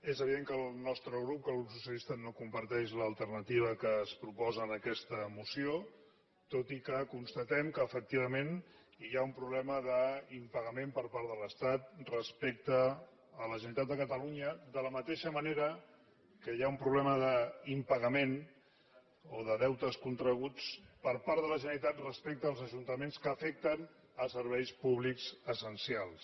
és evident que el nostre grup el grup socialista no comparteix l’alternativa que es proposa en aquesta moció tot i que constatem que efectivament hi ha un problema d’impagament per part de l’estat respecte a la generalitat de catalunya de la mateixa manera que hi ha un problema d’impagament o de deutes contrets per part de la generalitat respecte als ajuntaments que afecten serveis públics essencials